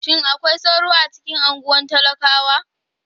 Shin akwai sauro a cikin unguwar talakawa?